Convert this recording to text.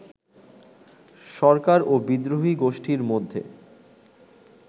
সরকার ও বিদ্রোহী গোষ্ঠীর মধ্যে